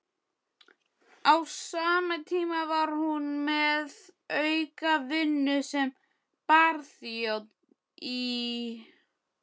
Á sama tíma var hún með aukavinnu sem barþjónn í